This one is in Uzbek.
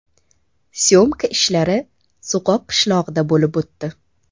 Syomka ishlari So‘qoq qishlog‘ida bo‘lib o‘tdi.